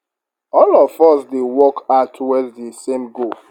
all of us dey work hard towards di same goal